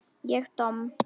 Ég domm?